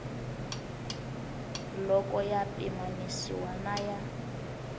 loko ya pimanisiwa na ya